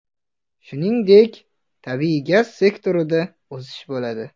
Shuningdek, tabiiy gaz sektorida o‘sish bo‘ladi.